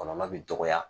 Kɔlɔlɔ bi dɔgɔya